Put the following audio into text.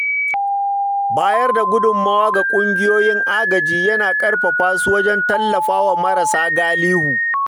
Bayar da gudummawa ga kungiyoyin agaji yana ƙarfafa su wajen tallafawa marasa galihu.